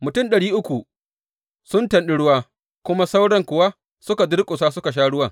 Mutum ɗari uku sun tanɗi ruwa, dukan sauran kuwa suka durƙusa suka sha ruwan.